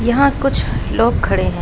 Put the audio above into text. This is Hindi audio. यहाँ कुछ लोग खड़े है।